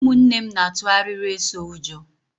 Ụmụnne m na-atu arịrị eso ụjọ.